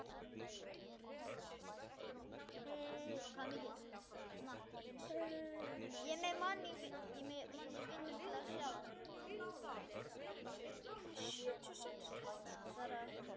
Svaraði heldur ekki í síma.